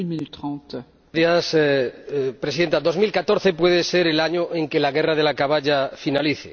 Señora Presidenta, 2014 puede ser el año en que la guerra de la caballa finalice.